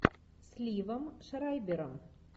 с ливом шрайбером